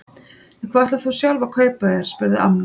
En hvað ætlar þú sjálf að kaupa þér? spurði amma.